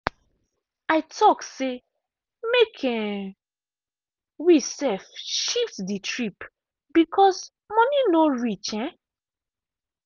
i talk say make um we um shift the trip because money no reach. um